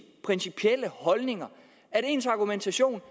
principielle holdninger at ens argumentation